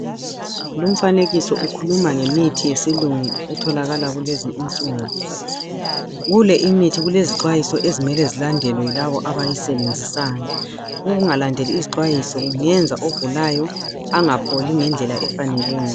Lumfanekiso ukhuluma ngemithi yesilungu etholakala kulezi insuku. Kule imithi kulezixwayiso, ezimele zilandelwe yilabo abayisebenzisayo. Ukungalandeli izixwayiso, kungenza ogulayo, angapholi ngendlela efaneleyo.